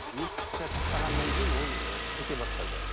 етті тастағаннан кейін ол ы кете бастады